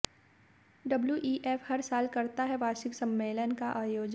WEF हर साल करता है वार्षिक सम्मेलन का आयोजन